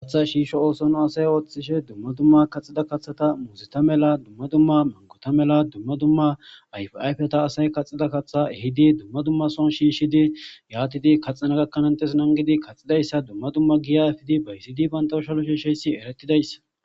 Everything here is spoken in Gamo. hatha shiisho oosono asay ooththishe dumma dumma kaxida kaththata muuzita mela dumma dumma mankota mela dumma dumma ayfayfeta asay kaxida katha hidi dumma dumma son shiishshidi yaatidi kaxana gakkanantes nangidi kaxidayssa dumma dumma giya efidi baysidi pantaushalo shiisheysi eretidayssa